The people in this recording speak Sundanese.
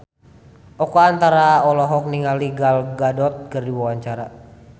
Oka Antara olohok ningali Gal Gadot keur diwawancara